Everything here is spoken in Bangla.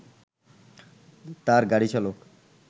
তার গাড়ি চালক